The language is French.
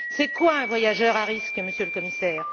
C'est quoi un voyageur à risque, Monsieur le Commissaire?